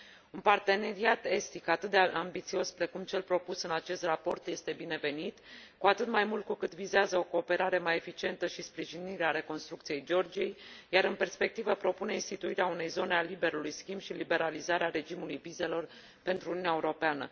Un parteneriat estic atât de ambițios precum cel propus în acest raport este binevenit, cu atât mai mult cu cât vizează o cooperare mai eficientă și sprijinirea reconstrucției Georgiei, iar în perspectivă propune instituirea unei zone a liberului schimb și liberalizarea regimului vizelor pentru Uniunea Europeană.